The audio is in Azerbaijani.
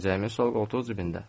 Pencəyimin sol qoltuq cibində.